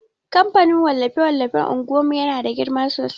kamfanin wallafe-wallafe unguwan mu yana da girma sosai.